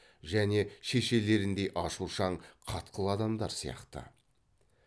және шешелеріңдей ашушаң қатқыл адамдар сияқты